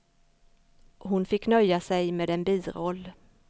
Hon fick nöja sig med en biroll.